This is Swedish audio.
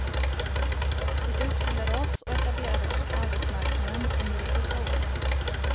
Vi utbildade oss och etablerade oss på arbetsmarknaden under de goda åren.